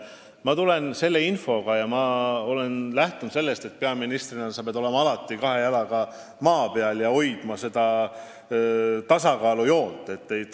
Ma tulen siia infoga ja olen lähtunud sellest, et peaministrina pead sa alati kahe jalaga maa peal olema ja tasakaalujoont hoidma.